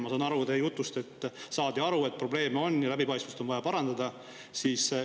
Ma sain teie jutust aru, et saadi aru, et probleem on ja läbipaistvust on vaja.